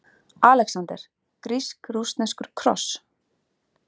ALEXANDER: Grísk-rússneskur kross!